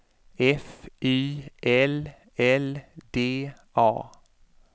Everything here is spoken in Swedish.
F Y L L D A